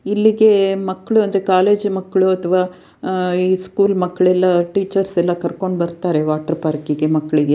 ಇಲ್ಲಿಗೆ ಮಕ್ಳು ಅಂದ್ರೆ ಕಾಲೇಜು ಮಕ್ಳು ಅಥವಾ ಅಹ್ ಈ ಸ್ಕೂಲ್ ಮಕ್ಳು ಎಲ್ಲ ಟೀಚರ್ಸ್ ಎಲ್ಲ ಕರ್ಕೊಂಡ್ ಬರ್ತಾರೆ ವಾಟರ್ ಪಾರ್ಕ್ ಇಗೆ ಮಕ್ಲಿಗೆ.